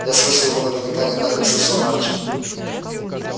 я слышал его наверняка не так как слышал мальчик